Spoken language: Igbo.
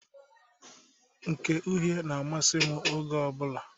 Nke uhe na-amasị m oge ọbụla.